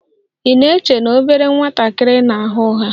Ị na-eche na obere nwatakịrị na-agha ụgha?